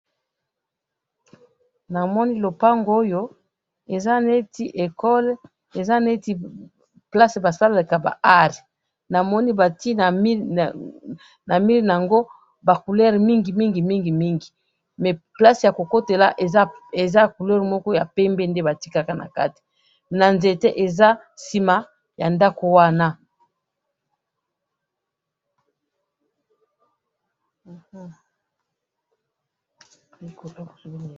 namoni lopango oyo eza neti ecole eza neti place basalelaka ba art namoni ba tiye na mur nango ba couleur mingi mingi mingi mingi mais place ya kokotela eza couleur moko ya pembe nde batikaka nakati na nzete eza sima ya ndakou wana